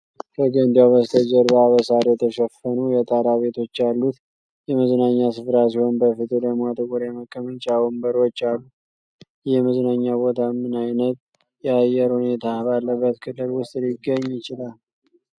ከገንዳው በስተጀርባ በሳር የተሸፈኑ የጣራ ቤቶች ያሉት የመዝናኛ ሥፍራ ሲሆን፣ በፊቱ ደግሞ ጥቁር የመቀመጫ ወንበሮች አሉ። ይህ የመዝናኛ ቦታ ምን ዓይነት የአየር ሁኔታ ባለበት ክልል ውስጥ ሊገኝ ይችላል?